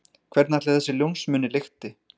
Hvernig ætli þessi ljónsmunni lykti?